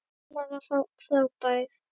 Mamma var frábær.